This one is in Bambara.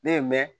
Ne ye mɛn